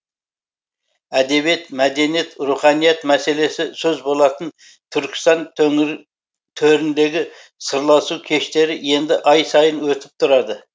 әдебиет мәдениет руханият мәселесі сөз болатын түркістан төріндегі сырласу кештері енді ай сайын өтіп тұрады